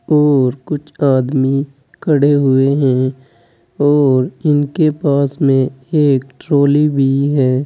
और कुछ आदमी खड़े हुए हैं और इनके पास में एक ट्राली भी है।